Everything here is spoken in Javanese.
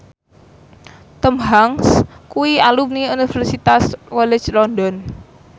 Tom Hanks kuwi alumni Universitas College London